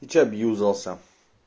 ты что объюзался